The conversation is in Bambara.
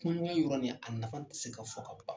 Kuma yɔgɔnya yɔrɔ nin, a nafa te se ka fɔ ka ban.